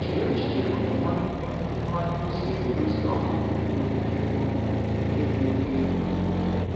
Chee echiche otú Nwachukwu Nwachukwu si edozi ọnọdụ nke nwere ike ịbụ nke dị oke egwu.